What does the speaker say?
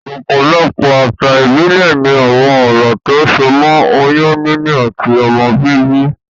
Òpòlopò àsà ìbílè ni àwon orò tó so mó oyún níní àti ọmọ bíbí